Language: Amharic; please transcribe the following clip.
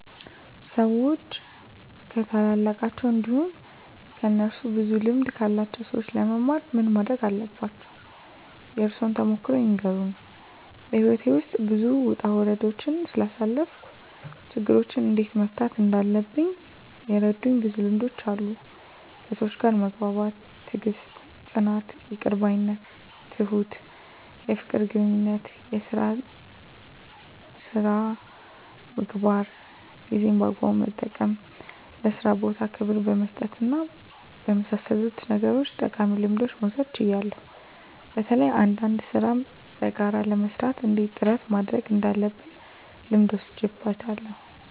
ሰዎች ከታላላቃቸው እንዲሁም ከእነሱ ብዙ ልምድ ካላቸው ሰዎች ለመማር ምን ማረግ አለባቸው? የእርሶን ተሞክሮ ይንገሩን? *በሕይወቴ ውስጥ ብዙ ውጣ ውረዶችን ስላሳለፍኩ፣ ችግሮችን እንዴት መፍታት እንዳለብኝ የረዱኝ ብዙ ልምዶች አሉ፤ ከሰዎች ጋር መግባባት፣ ትዕግስት፣ ጽናት፣ ይቅር ባይነት፣ ትሁት፣ የፍቅር ግንኙነት፣ የሥራ ሥነ ምግባር፣ ጊዜን በአግባቡ መጠቀም፣ ለሥራ ቦታ ክብር በመስጠትና በመሳሰሉት ነገሮች ጠቃሚ ልምዶችን መውሰድ ችያለሁ። በተለይ አንዳንድ ሥራን በጋራ ለመሥራት እና እንዴት ጥረት ማድረግ እንዳለብ ልምድ ወስጃለሁ።